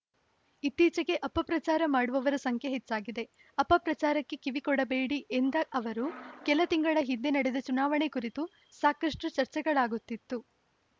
ಇತ್ತೀಚೆಗೆ ಅಪಪ್ರಚಾರ ಮಾಡುವವರ ಸಂಖ್ಯೆ ಹೆಚ್ಚಾಗಿದೆ ಅಪಪ್ರಚಾರಕ್ಕೆ ಕಿವಿಕೊಡಬೇಡಿ ಎಂದ ಅವರು ಕೆಲತಿಂಗಳ ಹಿಂದೆ ನಡೆದ ಚುನಾವಣೆ ಕುರಿತು ಸಾಕಷ್ಟುಚರ್ಚೆಗಳಾಗುತ್ತಿತ್ತು